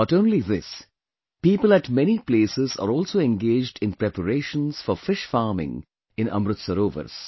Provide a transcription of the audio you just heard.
Not only this, people at many places are also engaged in preparations for fish farming in Amrit Sarovars